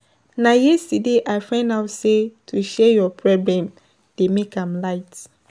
Na yesterday I find out sey to share your problem dey make am light.